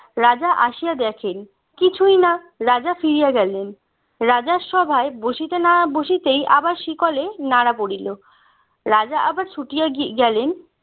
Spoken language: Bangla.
রাজা আসিয়া দেখেন কিছুই না রাজা ফিরে গেলেন রাজার সভায় বসিতে না বসিতেই আবার শিকলে নাড়া পড়িল রাজা আবার ছুটিয়া গি গেলেন